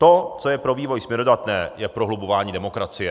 To, co je pro vývoj směrodatné, je prohlubování demokracie.